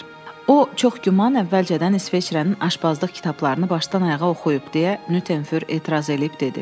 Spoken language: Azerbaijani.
"O, çox güman əvvəlcədən İsveçrənin aşbazlıq kitablarını başdan-ayağa oxuyub" deyə Nyuternfür etiraz edib dedi.